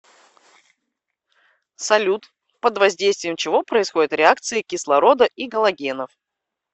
салют под воздействием чего происходят реакции кислорода и галогенов